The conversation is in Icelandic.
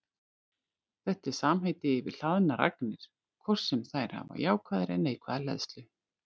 Þetta er samheiti yfir hlaðnar agnir, hvort sem þær hafa jákvæða eða neikvæða hleðslu.